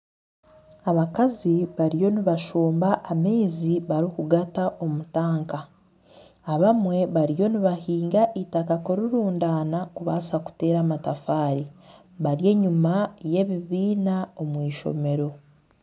Abakazi bariyo nibashomba amaizi barikugata omu tanka. Abamwe bariyo nibahinga eitaka kurirundaana kubaasa kuteera amatafaari. Bari enyuma y'ebibiina omu eishomero